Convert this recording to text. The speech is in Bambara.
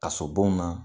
Kaso bon na